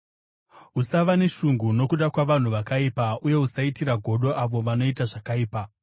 Usava neshungu nokuda kwavanhu vakaipa, uye usaitira godo avo vanoita zvakaipa;